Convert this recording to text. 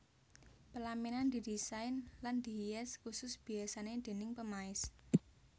Pelaminan didisain lan dihias kusus biasane déning pemaes